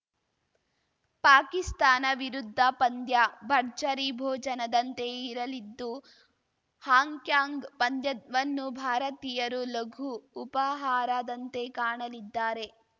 ಪಾಕಿಸ್ತಾನ ವಿರುದ್ಧ ಪಂದ್ಯ ಭರ್ಜರಿ ಭೋಜನದಂತೆ ಇರಲಿದ್ದು ಹಾಂಕಾಂಗ್‌ ಪಂದ್ಯವನ್ನು ಭಾರತೀಯರು ಲಘು ಉಪಹಾರದಂತೆ ಕಾಣಲಿದ್ದಾರೆ